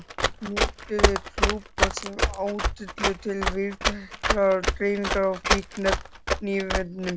NOTUÐU TRÚBOÐ SEM ÁTYLLU TIL VÍÐTÆKRAR DREIFINGAR Á FÍKNIEFNUM.